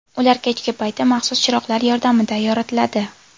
Ular kechki payti maxsus chiroqlar yordamida yoritiladi.